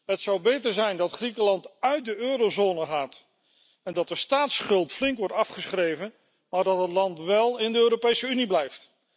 Het zou beter zijn dat Griekenland uit de eurozone gaat en dat de staatsschuld flink wordt afgeschreven, maar dat het land wél in de Europese Unie blijft.